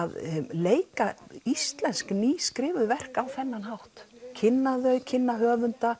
leika íslensk nýskrifuð verk á þennan hátt kynna þau kynna höfunda